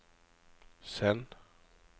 send